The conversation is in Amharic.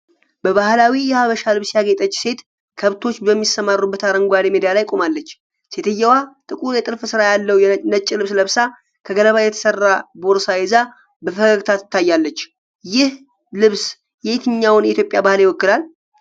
በባህላዊ የሐበሻ ልብስ ያጌጠች ሴት ከብቶች በሚሰማሩበት አረንጓዴ ሜዳ ላይ ቆማለች። ሴትየዋ ጥቁር የጥልፍ ስራ ያለው ነጭ ልብስ ለብሳ፣ ከገለባ የተሰራ ቦርሳ ይዛ በፈገግታ ትታያለች። ይህ ልብስ የትኛውን የኢትዮጵያ ባህል ይወክላል?